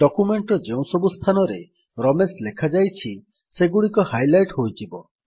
document ର ଯେଉଁ ସବୁ ସ୍ଥାନରେ ରମେଶ ଲେଖାଯାଇଛି ସେଗୁଡିକ ହାଇଲାଇଟ୍ ହୋଇଯିବ